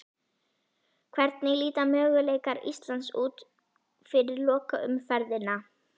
Hvernig líta möguleikar Íslands út fyrir lokaumferðina?